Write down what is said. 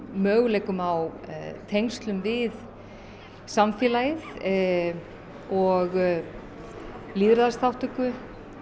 möguleikum á tengslum við samfélagið og lýðræðisþátttöku